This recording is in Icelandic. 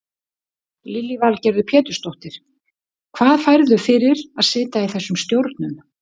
Lillý Valgerður Pétursdóttir: Hvað færðu fyrir að sitja í þessum stjórnum?